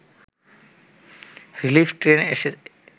relief train এসে